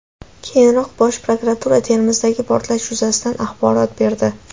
Keyinroq Bosh prokuratura Termizdagi portlash yuzasidan axborot berdi .